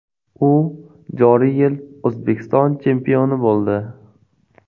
U joriy yil O‘zbekiston chempioni bo‘ldi.